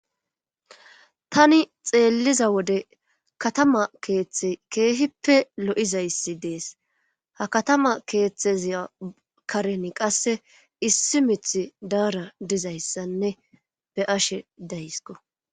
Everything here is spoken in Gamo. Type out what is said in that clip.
Tani xeelliza wode katama keeththe keehippe lo'izayssi dees ha katama keeththeziya karen qasse issi mith daara dizayssanne be ashe daysko